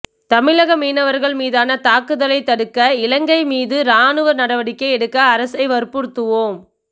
தமிழக மினவர்கள் மிதன தாக்குதலை தடுக்க இலங்கை மிது ராணுவ நடவடிக்கை எடுக்க அரசை வற்புறுத்துவோம்